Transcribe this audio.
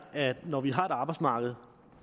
er at når vi har et arbejdsmarked